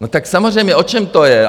No tak samozřejmě, o čem to je?